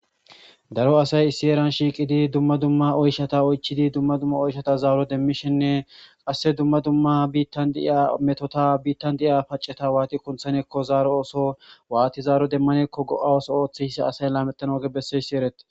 daro asay issi eran shiiqidi dumma dumma oyshata oychidi dumma dumma oyshata zaaro demmishinne qasse dumma dumma biittan diiya metota biittan di'iya paceta waati kunthanekko zaaro ooso waati zaaro demmanekko go'a ooso ooththeissa asay laamettan ooge besseyssi erete